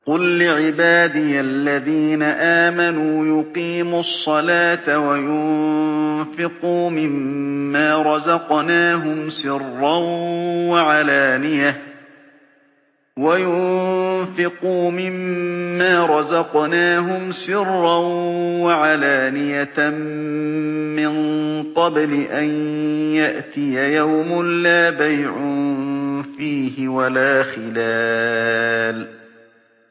قُل لِّعِبَادِيَ الَّذِينَ آمَنُوا يُقِيمُوا الصَّلَاةَ وَيُنفِقُوا مِمَّا رَزَقْنَاهُمْ سِرًّا وَعَلَانِيَةً مِّن قَبْلِ أَن يَأْتِيَ يَوْمٌ لَّا بَيْعٌ فِيهِ وَلَا خِلَالٌ